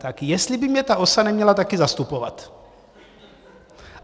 Tak jestli by mě ta OSA neměla také zastupovat.